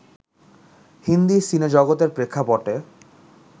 হিন্দি সিনেজগতের প্রেক্ষাপটে